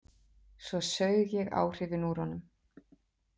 Svo saug ég áhrifin úr honum.